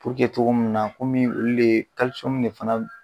togo mun na komi olu de de fana b